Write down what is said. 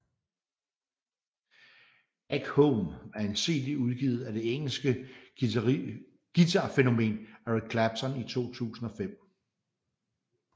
Back Home er en CD udgivet af det engelske guitarfænomen Eric Clapton i 2005